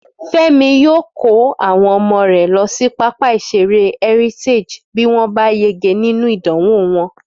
Fẹ́mi yóò kó àwọn ọmọ rẹ̀ lọ sí pápá ìṣeré Heritage bí wọ́n bá yege nínú ìdánwò wọn